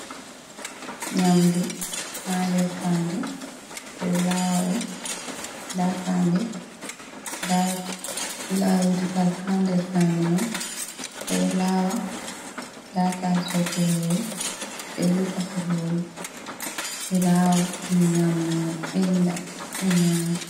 Nyamdu hander fade ɓeɗo lawaɗum. Nda fande laawirgal hander fande mai bedo lawa. Ndaa taso kurori be rufa kurori be lawa benda, be nyama.